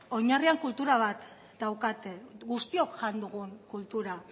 oinarrian kultura bat daukate guztiok jan dugun kultura